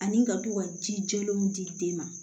Ani ka to ka jijalenw di den ma